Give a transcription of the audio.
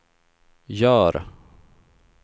gör